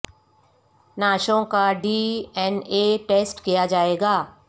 نعشوں کا D N A test کیا جائے گا